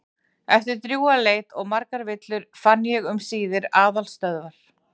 Eftir drjúga leit og margar villur fann ég um síðir aðalstöðvar